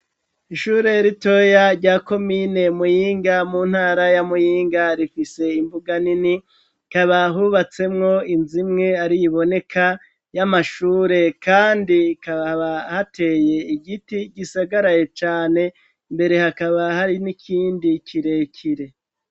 Ishure ritoya rya komine Muyinga mu ntara ya Muyinga rifise imbuga nini hakaba hubatsemwo inz'imwe ari iboneka y'amashure kandi kababa hateye igiti gisagaraye cane imbere hakaba hari n'ikindi kirekire.